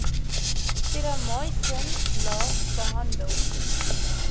terramycin la behandel